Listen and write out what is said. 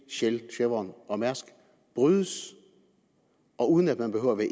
shell chevron og mærsk brydes og uden at man behøver